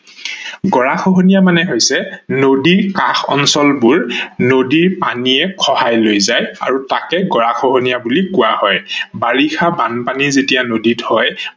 গঢ়া খহনীয়া মানে হৈছে নদীৰ কষা অঞ্চল বোৰ নদীৰ পানীয়ে খহাই লৈ যায় আৰু তাকেই গঢ়া খহনীয়া বুলি কোৱা হয়। বাৰিষা বানপানী যেতিয়া নদীত হয়